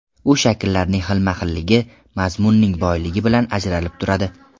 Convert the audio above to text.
U shakllarning xilma-xilligi, mazmunning boyligi bilan ajralib turadi.